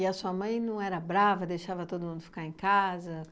E a sua mãe não era brava, deixava todo mundo ficar em casa?